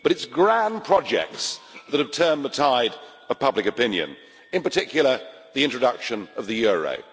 But it is grand projects that have turned the tide of public opinion, in particular the introduction of the euro.